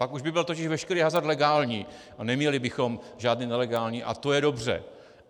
Pak už by byl totiž veškerý hazard legální a neměli bychom žádný nelegální a to je dobře.